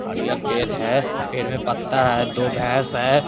और ये पेड़ है पेड़ में पत्ता है दो भैस है।